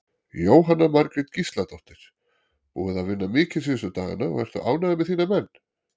Jóhanna Margrét Gísladóttir: Búið að vinna mikið síðustu dagana og ertu ánægður með þína menn?